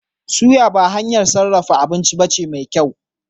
Suya ba hanyar sarrafa abinci bace mai kyau